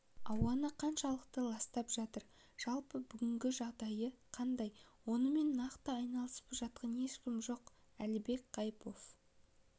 ауаны қаншалықты ластап жатыр жалпы бүгінгі жағдайы қандай онымен нақты айналысып жатқан ешкім жоқ әлібек қайыпов